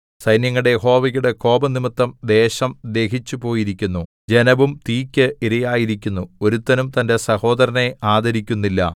സൈന്യങ്ങളുടെ യഹോവയുടെ കോപംനിമിത്തം ദേശം ദഹിച്ചുപോയിരിക്കുന്നു ജനവും തീയ്ക്ക് ഇരയായിരിക്കുന്നു ഒരുത്തനും തന്റെ സഹോദരനെ ആദരിക്കുന്നില്ല